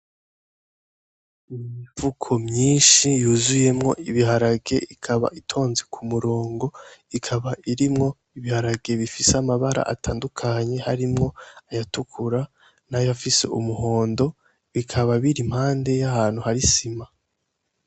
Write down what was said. Imifuko myinshi yuzuyemwo ibiharage ikaba itonze ku murongo ikaba irimwo ibiharage bifise amabara atandukanye harimwo ayatukura nayafise umuhondo bikaba biri impande yahantu hari isima.